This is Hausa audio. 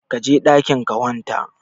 Kaje ɗakin ka wanta